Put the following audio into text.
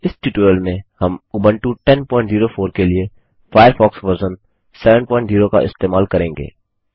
इस ट्यूटोरियल में हम उबंटू 1004 के लिए फ़ायरफ़ॉक्स वर्ज़न 70 का इस्तेमाल करेंगे